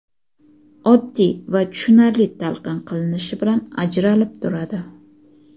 oddiy va tushunarli talqin qilinishi bilan ajralib turadi.